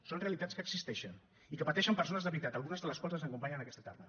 són realitats que existeixen i que pateixen persones de veritat algunes de les quals ens acompanyen aquesta tarda